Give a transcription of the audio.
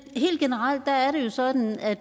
helt generelt er det jo sådan at